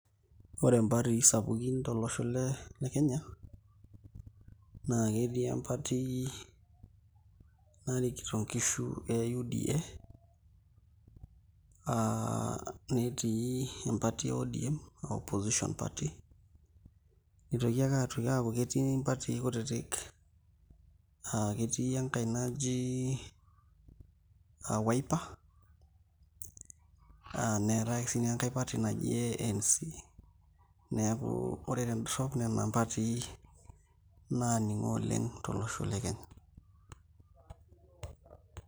Ore mpatii sapukin tolosho le Kenya naa ketii empati narikito nkishu e UDA aa netii empati e ODM aa opposition party, nitoki aaku ketii mpatii kutitik aa ketii enkai naji aa Wiper, neetai ake siinye enkai party naji ANC, neeku ore tendorrop nena mpatii naaning'o oleng' tolosho le Kenya.